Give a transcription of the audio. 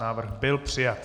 Návrh byl přijat.